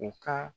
U ka